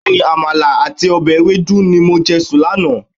Bẹẹni, Àmàlà àti ọbẹ̀ ewedu ni mo jẹ sùn lánàá.